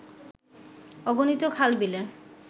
অগণিত খাল-বিলের